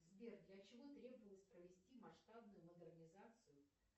сбер для чего требовалось провести масштабную модернизацию